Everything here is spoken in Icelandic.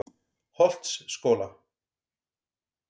Holtsskóla